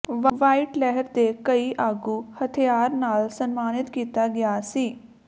white ਲਹਿਰ ਦੇ ਕਈ ਆਗੂ ਹਥਿਆਰ ਨਾਲ ਸਨਮਾਨਿਤ ਕੀਤਾ ਗਿਆ ਸੀ